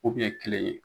U kun ye kelen ye